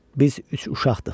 Biz üç uşaqdıq.